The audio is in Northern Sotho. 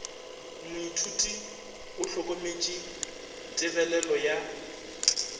moithuti o hlokometše tebelelo ya